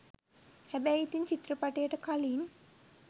හැබැයි ඉතින් චිත්‍රපටියට කලින්